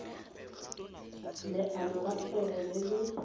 leano la kgwebo le le